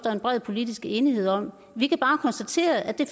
er en bred politisk enighed om vi kan bare konstatere at det